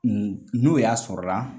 n'o y'a sɔrɔla la